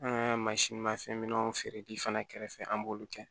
An ka mansin ma fɛn minɛnw feereli fana kɛrɛfɛ an b'olu kɛ